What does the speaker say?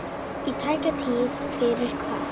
Í tæka tíð fyrir hvað?